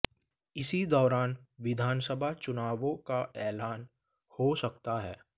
इसी दौरान विधानसभा चुनावों का ऐलान हो सकता है